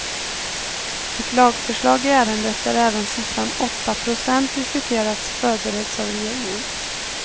Ett lagförslag i ärendet där även siffran åtta procent diskuterats förbereds av regeringen.